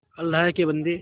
अल्लाह के बन्दे